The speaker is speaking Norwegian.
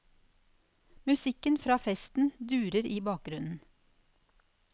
Musikken fra festen durer i bakgrunnen.